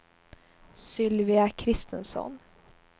Sylvia Christensson